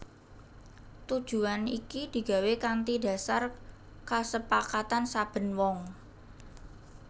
Tujuwan iki digawé kanthi dhasar kasepakatan saben wong